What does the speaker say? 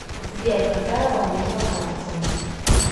сбер какая валюта во франции